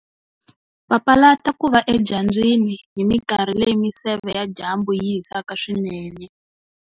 Papalata ku va edyambyini hi minkarhi leyi miseve ya dyambu yi hisaka swinene